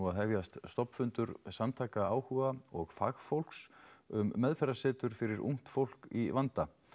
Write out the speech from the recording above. að hefjast stofnfundur samtaka áhuga og fagfólks um meðferðasetur fyrir ungt fólk í vanda